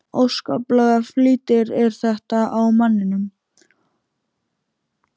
Óskaplegur flýtir er þetta á manninum.